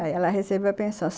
Aí ela recebeu a pensão.